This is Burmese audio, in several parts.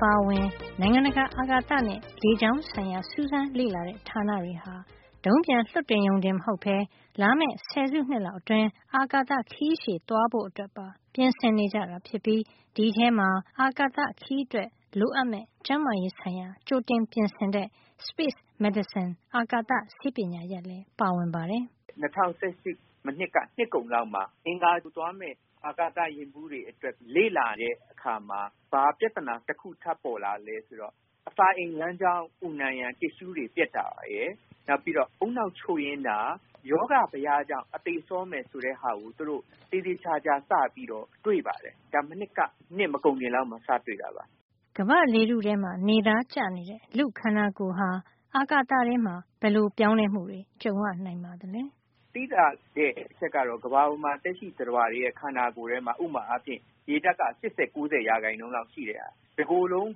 ပါအဝင် နိုင်ငံတကာ အာကာသနဲ့ လေကြောင်းဆိုင်ရာ စူးစမ်းလေ့လာတဲ့ ဌာနတွေဟာ ဒုံးပျံလွှတ်တင်ရုံတင် မဟုတ်ပဲ လာမယ့် ဆယ်စုနှစ်လောက်အတွင်း အာကာသ ခရီးရှည် သွားဖို့အတွက်ပါ ပြင်ဆင်နေကြတာဖြစ်ပြီး ဒီအထဲမှာ အာကာသခရီးအတွက် လိုအပ်မယ့် ကျန်းမာရေး ဆိုင်ရာ ကြိုတင်ပြင်ဆင်တဲ့ space medicine အာကာသဆေးပညာရပ်လည်း ပါဝင်ပါတယ်။ “၂၀၁၈ မနှစ်က နှစ်ကုန်လောက်မှာ အင်္ဂါဂြိုဟ်သွားမယ့် အာကာသ ယာဉ်မှုးတွေအတွက် လေ့လာတဲ့အခါမှာ ဘာပြဿနာတခု ထပ်ပေါ်လာသလဲ ဆိုတော့ အစာအိမ် လမ်းကြောင်း အူနံရံ တစ်ရှုးတွေပျက်စီးတာရယ်၊ ဦးနှောက်ချို့ယွင်းတာ၊ ရောဂါဘယကြောင့် အသေစောမယ် ဆိုတဲ့ဟာကို သူတို့ သေသေချာချာ စပြီးတော့ တွေ့လာရတယ်။ ဒါမနှစ်က နှစ်မကုန်ခင် ကစတွေ့တာပါ။” ကမ္ဘာ့လေထုထဲ နေသားကျနေတဲ့ လူ့ခန္ဓာကိုယ်ဟာ အာကာသထဲမှာ ဘယ်လို ပြောင်းလဲမှုတွေ ကြုံရနိုင်ပါသလဲ “သိသာတဲ့ အချက်ကတော့ ကမ္ဘာပေါ်မှာ သက်ရှိတွေရဲ့ ခန္ဓာကိုယ်ထဲမှာ ဥပမာအားဖြင့် ရေဓါတ်ပေါ့။ ရေဓါတ်က ၈၀- ၉၀ % လောက်ရှိတဲ့ဟာပါ။ တကိုယ်လုံး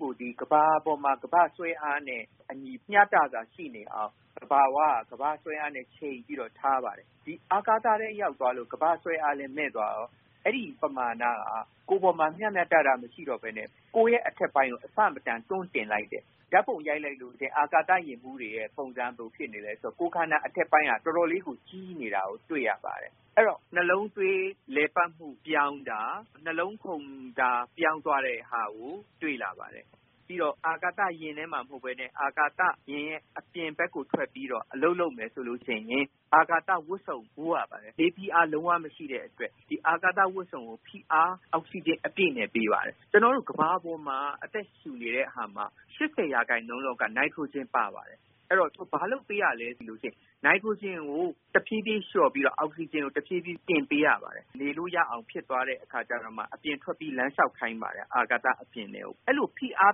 ကို ကမ္ဘာပေါ်မှာ ကမ္ဘာ့ဆွဲအားနဲ့ အညီမျှတစွာ ရှိနေအောင် သဘာဝက ကမ္ဘာ့ဆွဲအားနဲ့ ချိန်ပြီးတော့ထားပါတယ်။ အာကာသထဲ ရောက်သွားလို့ ကမ္ဘာ့ဆွဲအားလည်း မဲ့သွားရော အဲဒီ ရေဓါတ်ပမာဏက ကိုယ်ပေါ်မှာ မျှမျှတတ မရှိတော့ပဲနဲ့ ကိုယ်ရဲ့ အထက်ပိုင်းကို အဆမတန် တွန်းတင်လိုက်တယ်။ တွန်းတင်လိုက်တဲ့ အခါကျတော့ ဓါတ်ပုံရိုက်လိုက်လို့ ရှိရင် အာကာသ ယာဉ်မှုးတွေရဲ့ ပုံစံက ဘယ်လို ဖြစ်နေလဲ ဆိုရင် ကိုယ်ခန္ဓာ အထက်ပိုင်းက တော်တော်လေးကို ကြီးနေတာကို သွားတွေ့ရပါတယ်။ အဲဒီအခါမှာ ရောဂါတွေ ပေါ်လာပါတယ်။ ဥပမာအားဖြင့် နှလုံးသွေးလည်ပတ်မှု ပြောင်းတာ၊ နှလုံး ခုန်မှု ပြောင်းသွားတဲ့ဟာကို တွေ့လာပါတယ်။ နောက်ပြီးတော့ အာကာသ ယာဉ်ထဲမှာ မဟုတ်ပဲနဲ့ အာကာသ ယာဉ်ရဲ့ အပြင်ဘက်ကို ထွက်ပြီးတော့ အလုပ်လုပ်မယ် ဆိုလို့ရှိရင် အာကာသ ဝတ်စုံဝတ်ရပါတယ်။ အာကာသအပြင်ကို ထွက်လို့ရှိရင် အပြင်မှာက လေဖိအား လုံးဝ မရှိတဲ့ အတွက် ဒီအာကာသဝတ်စုံကို ဖိအား ပေးထားရပါတယ်။ အောက်ဆီဂျင် အပြည့်နဲ့ ပေးပါတယ်။ ကျနော်တို့ ကမ္ဘာပေါ်မှာ အသက်ရှုတဲ့ အခါမှာ ၈၀ % လောက်က နိုက်ထရိုဂျင် ပါပါတယ်။ အဲဒီတော့ ဘာလုပ်ပေးရသလဲ ဆိုရင် နိုက်ထရိုဂျင်ကို တဖြေးဖြေး လျှော့ပြီးတော့ အောက်ဆီဂျင်ကို တဖြေးဖြေးတင်ပေးရပါတယ်။ နေလို့ ရအောင် ဖြစ်သွားတဲ့ အခါမှာမှ အပြင်ထွက်ပြီး လမ်းလျှောက်ခိုင်းပါတယ်။ အာကာသ အပြင်ထဲကို။ အဲဒီလို ဖိအား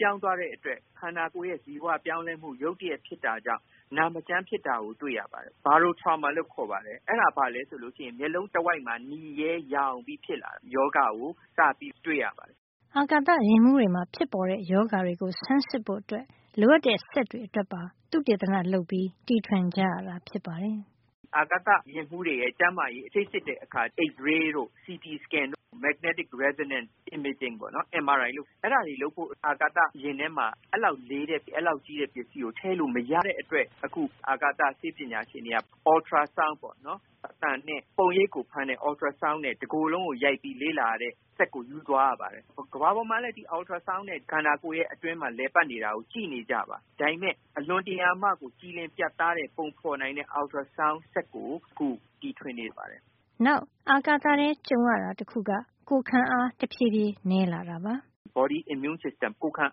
ပြောင်းသွားတဲ့ အတွက် ခန္ဓာကိုယ်ရဲ့ ဇီဝ ပြောင်းလဲမှု ရုတ်တရက်ဖြစ်တာကြောင့် နာမကျန်းဖြစ်တာကို တွေ့ရပါတယ်။ baro trauma လို့ခေါ်ပါတယ်။ မျက်လုံးတဝိုက်မှာ နီရဲ ယောင်ရမ်းမှု ဖြစ်လာတဲ့ ရောဂါကို စပြီး တွေ့ရပါတယ်။” အာကာသယာဉ်မှုးတွေမှာ ဖြစ်ပေါ်တဲ့ ရောဂါတွေကို ဆန်းစစ်ဖို့ လိုအပ်တဲ့စက်တွေ အတွက်ပါ သုတေသနလုပ်ပြီး တီထွင်ကြရတာဖြစ်ပါတယ်။ “အာကာသယာဉ်မှုးတွေရဲ့ ကျန်းမာရေး ဆေးစစ်တဲ့ အခါလိုအပ်တဲ့ x-ray တို့ CT Scan တို့ Magnetic Resonance Imaging – MRI တို့လုပ်ဖို့ အဲဒီလောက် လေးပြီး ကြီးမားတဲ့ စက်တွေ အာကာသထဲထည့် ယူသွားလို့ မရတဲ့ အတွက် အခု အာကာသ ဆေးပညာရှင် တွေက ultrasound ပေါ့နော်။ အသံနဲ့ ပုံရိပ်ကို ဖမ်းတဲ့စက်နဲ့ တကိုယ်လုံးကို ရိုက်ပြီး လေ့လာရတဲ့ စက်ကို ယူသွားရပါတယ်။ ကမ္ဘာပေါ်မှာလည်း ဒီ ultrasound နဲ့ ခန္ဓာကိုယ်တွင်း လည်ပတ်နေတာကို ကြည့်နေကျပါ။ ဒါပေမယ့် အလွန်ကြည်လင် ပြတ်သားတဲ့ ပုံဖေါ်နိုင်တဲ့ ultrasound စက်ကို အခုတီထွင်နေပါတယ်။” နောက်အာကာသထဲ ကြုံရတာ တခုက ကိုယ်ခံအား တဖြေးဖြေး နဲလာတာ ဖြစ်ပါတယ်။ “Body Immune System ကိုယ်ခံ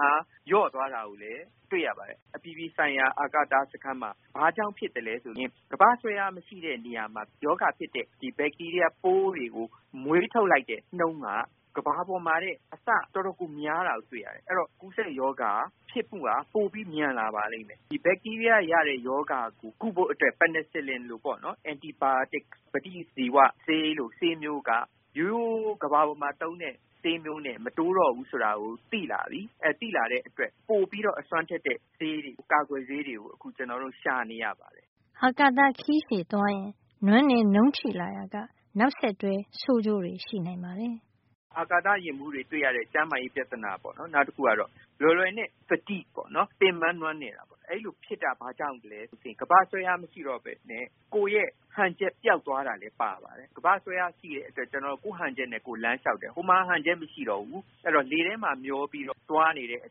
အား လျော့သွားတာ ကိုလဲ တွေ့ရပါတယ်။ အပြည်ပြည် ဆိုင်ရာ အာကာသစခန်းမှာ ဘာကြောင့်ဖြစ်သလဲ ဆိုရင် ကမ္ဘာ့ဆွဲအား မရှိတဲ့ နေရာမှာ ရောဂါဖြစ်စေတဲ့ ဘက်တီးရီးယား တွေကို မွေးထုတ်လိုက်တဲ့ နှုန်းက ကမ္ဘာပေါ်မှ ာထက် အဆမတန် များတာကို တွေ့ရတယ်။ အဲဒီတော့ ကူးစက်ရောဂါ ဖြစ်မှုက ပိုပြီး မြန်လာ ပါလိမ့်မယ်။ အဲဒီ ဘက်တီးရီးယားက ရတဲ့ ရောဂါကို ကုဖို့ penicillin ပင်နယ်စလင် လို antibody ပဋိဇီဝဆေးလို ဆေးမျိုးက ရိုးရိုး ကမ္ဘာပေါ်မှာ သုံးတဲ့ ဆေးမျိုးနဲ့ မတိုးတော့ဘူး ဆိုတာကို သိလာတဲ့ အတွက် ပိုပြီးအစွမ်းထက်တဲ့ ဆေးတွေ၊ ကာကွယ်ဆေးတွေကို ကျနော်တို့ ရှာနေရ ပါတယ်။” အာကာသခရီးရှည်သွားရင် နွမ်းနယ် နုံးချိလာရာက နောက်ဆက်တွဲ ဆိုးကျိုးတွေ ရှိနိုင်ပါတယ်။ “ အာကာသယာဉ်မှုးတွေမှာ တွေ့ရလေ့ရှိတဲ့ နောက်တခုကတော့ fatigue ပေါ့။ လွယ်လွယ်နဲ့ ပင်ပမ်းနွမ်းနယ်တာပေါ့။ အဲဒီလိုဖြစ်တာ ဘာကြောင့်လဲ ဆိုရင် ကမ္ဘာ့ဆွဲအား မရှိတော့ပဲနဲ့ ကိုယ်ရဲ့ ဟန်ချက် ပျောက်သွားတာမျိုးလည်း ပါပါတယ်။ ကမ္ဘာ့ဆွဲအား ရှိတဲ့အတွက် ကိုယ့်ဟန်ချက်နဲ့ ကိုယ် လမ်းလျှောက်ကြပါတယ်။ ဟိုမှာက ဟန်ချက် မရှိတော့ဘူး။ အဲဒီတော့ လေထဲမှာ မျောပြီးတော့သွားနေတဲ့အ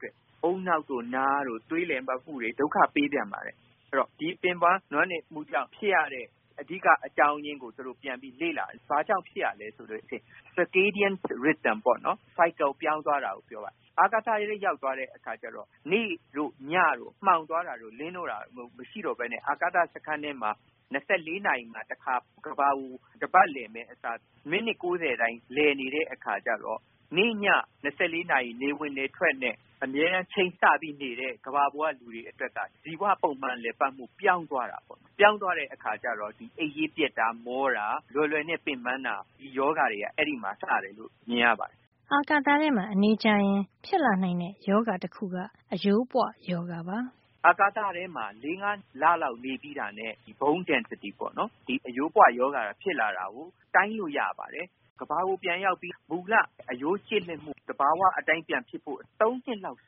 တွက် ဦးနှောက်တို့ နားတို့ သွေးလည်ပတ်မှုတို့ ဒုက္ခပေး ပြန်ပါတယ်။ အဲဒီတော့ ဒီပင်ပမ်း နွမ်းနယ်မှုကြောင့် ဖြစ်ရတဲ့ အဓိက အကြောင်းရင်းကို သူတို့ ပြန်ပြီး ဘာကြောင့်ဖြစ်ရသလဲ ဆိုတာကို လေ့လာတယ်။ circadian rhythm ပါ circle လည်ပတ်မှု ပြောင်းလဲ သွားတာကိုပြောပါတယ်။ အာကာသထဲ ရောက်သွားတဲ့အခါ နေ့တို့ ညတို့ မှောင်သွားတာတို့ လင်းလာတာတို့ မရှိတော့ပဲနဲ့ အာကာသစခန်းထဲမှာဆို ၂၄ နာရီမှာ ကမ္ဘာကို တပတ်လည်မယ့်အစား မိနစ် ၉၀ တိုင်းလည် နေတဲ့ အခါကျတော့၊ နေ့ည၊ ၂၄ နာရီ နေဝင်နေထွက်နဲ့ အမြဲတမ်း ချိန်ဆပြီးနေတဲ့ ကမ္ဘာပေါ်က လူတွေ အတွက်က ဇီဝပုံမှန်လည်ပတ်မှု ပြောင်းသွားတာပေါ့။ အဲဒီလိုပြောင်းသွားတဲ့အခါ အိပ်ရေးပျက်တာ၊ မောတာ၊ လွယ်လွယ်နဲ့ပင်ပမ်းတာ၊ အဲဒီရောဂါတွေဟာ အဲဒီမှာ စပြီး မြင်ရပါတယ်။” အာကာသထဲမှာ အနေကြာရင် ဖြစ်လာနိုင်တဲ့ ရောဂါတခုက အရိုးပွရောဂါပါ။ “အာကာသထဲမှာ ၄ - ၅ လလောက် နေပြီးရင် အရိုးပွ ရောဂါဖြစ်လာတာ bone density ကို တိုင်းလို့ရပါတယ်။ ကမ္ဘာကို ပြန်ရောက်ပြီး မူလ အရိုးကျစ်လစ်မှု သဘာဝ အတိုင်း ပြန်ဖြစ်ဖို့ ၃ နှစ်လောက်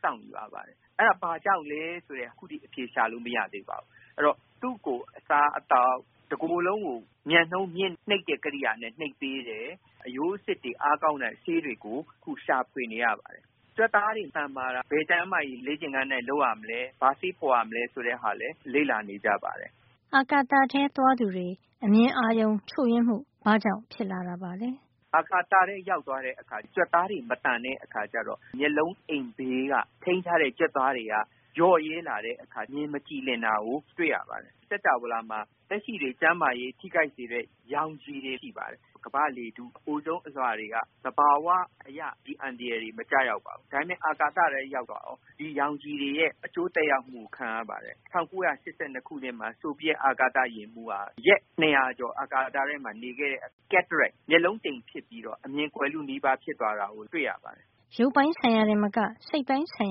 စောင့်ယူရပါတယ်။ အဲဒါဘာကြောင့်လည်း ဆိုတာကို ခုထိ အဖြေရှာ လို့ မရသေးပါဘူး။ ဒါကြောင့် သူ့ကို အစားအသောက်ရော၊ မြန်နှုန်းမြင့် ကရိယာနဲ့ တကိုယ်လုံးကို နှိပ်ပေး တယ်။ အရိုးအဆစ်တွေ အားကောင်းတဲ့ ဆေးတွေကို အခု ရှာဖွေနေရ ပါတယ်။ ကြွက်သား တွေ သန်မာအောင် ဘယ်ကျန်းမာရေး လေ့ကျင့်ခန်း လုပ်ရမလဲ၊ ဘာဆေးဖေါ်ရမလဲဆိုတာတွေလည်း လေ့လာနေကြပါပြီ။” အာကာသထဲ သွားသူတွေ အမြင်အာရုံချို့ယွင်းမှု ဘာကြောင့် ဖြစ်လာတာပါလဲ “အာကာသထဲ ရောက်သွားတဲ့အခါ ကြွက်သားတွေ မသန်တဲ့ အခါ ကျတော့ မျက်လုံးအိမ် ဘေးက ထိန်းထားတဲ့ ကြွက်သားတွေက လျော့ရဲလာတဲ့ အခါ အမြင် မကြည်လင်တာကို တွေ့ရပါတယ်။ စင်္ကြာဝဌာမှာ သက်ရှိတွေကို ထိခိုက်စေတဲ့ ရောင်ခြည်တွေ ရှိပါတယ်။ ကမ္ဘာ့လေထု အိုဇုံးအလွှာတွေက သဘာဝအရ ဒီအန္တရာယ်တွေကို အကာကွယ်ပေး ထားပါတယ်။ ဒါပေမယ့် အာကာသထဲ ရောက်သွားရင် ဒီရောင်ခြည်တွေရဲ့ အကျိုးသက်ရောက်မှု ခံရပါတယ်။ ၁၉၈၂ ခုနှစ်မှာ ဆိုဗီယက် အာကာသယာဉ်မှုးက ရက် ၂၀၀ ကျော် အာကာသထဲမှာ နေခဲ့တဲ့အခါ cataract မျက်လုံးတိမ်ဖြစ်ပြီးတော့ အမြင် ကွယ်လုနီးဖြစ်သွားတာ တွေ့ရပါတယ်။” ရုပ်ပိုင်းဆိုင်ရာတင်မက စိတ်ပိုင်းဆိုင်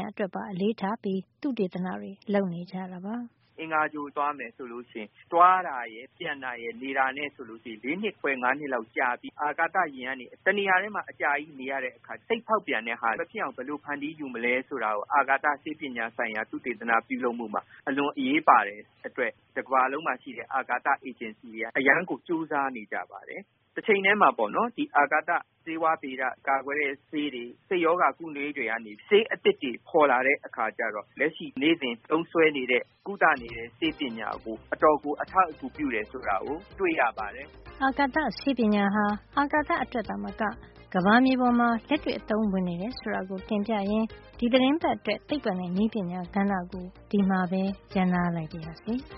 ရာ အတွက်ပါ အလေးထားပြီး သုတေသနတွေ လုပ်နေကြတာပါ။ “အင်္ဂါဂြိုဟ်သွားမယ် ဆိုရင် သွားတာရယ်၊ ပြန်တာရယ်၊ နေတာနဲ့ ဆိုရင် ၄ နှစ်ခွဲ - ၅ နှစ်လောက် ကြာပြီး အာကာသယာဉ်မှာ တနေရာထဲမှာ အကြာကြီးနေရတဲ့အခါ စိတ်ဖေါက်ပြန်တာ မဖြစ်အောင် ဘယ်လို ဖန်တီးယူမလဲ ဆိုတာကို အာကာသ ဆေးပညာဆိုင်ရာ သုတေသန ပြုလုပ်မှုဟာ အလွန်အရေးပါတဲ့ အတွက် တကမ္ဘာလုံးမှာ ရှိတဲ့ အာကာသ အေဂျင်စီတွေက အရမ်းကို ကြိုးစားနေကြပါတယ်။ တချိန်ထဲမှာပဲ အာကာသ ဆေးဝါးဗေဒ၊ နောက် ကာကွယ်ဆေးတွေ၊ စိတ်ရောဂါကု ဆေးတွေကနေ ဆေးအသစ်တွေ ဖေါ်လာတဲ့အခါ လက်ရှိ နေ့စဉ် သုံးစွဲနေတဲ့ ကုသနေတဲ့ ဆေးပညာကို အတော်ကို အထောက်အကူ ပြုတယ် ဆိုတာကို တွေ့ရပါတယ်။” အာကာသဆေးပညာဟာ အာကာသအတွက်သာမက ကမ္ဘာမြေပေါ်မှာ လက်တွေ့အသုံးဝင်နေတယ် ဆိုတာကို တင်ပြရင်း ဒီသီတင်းပတ်အတွက် သိပ္ပံနဲ့ နည်းပညာ ကဏ္ဍကို ဒီမှာပဲ ရပ်နားလိုက်ပါရစေ။